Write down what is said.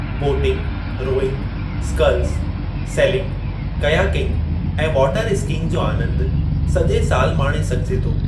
Boating, rowing, sculls, sailing, kayaking ऐं water skiing जो आनंदु सॼे सालु माणे सघिजे थो।